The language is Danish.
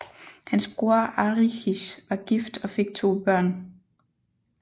Hans bror Arichis var gift og fik to børn